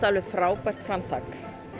alveg frábært framtak